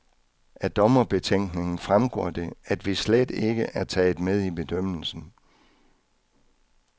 Af dommerbetænkningen fremgår det, at vi slet ikke er taget med i bedømmelsen.